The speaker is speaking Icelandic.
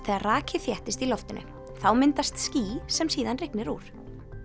þegar raki þéttist í loftinu þá myndast ský sem síðan rignir úr